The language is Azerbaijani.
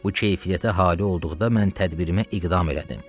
Bu keyfiyyətə haali olduqda mən tədbirimə iqdam elədim.